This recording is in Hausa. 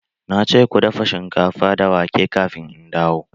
Na ce ku dafa shinkafa da wake kafin in dawo!